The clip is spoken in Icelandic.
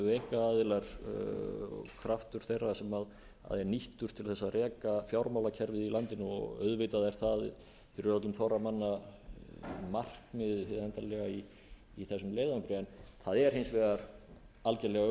einkaaðilar og kraftur þeirra sem er nýttur til þess að reka fjármálakerfið í landinu og auðvitað er það fyrir öllum þorra manna markmiðið hið endanlega í þessum leiðangri það er hins vegar algerlega